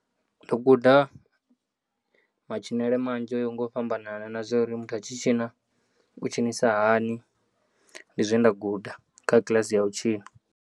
Ndo guda, matshinele manzhe o yaho ngo fhambananana na zwouri muthu a tshi tshina u tshinisa hani ndi zwe nda guda kha kiḽasi ya u tshina.